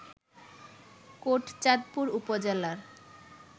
কোটচাঁদপুর উপজেলার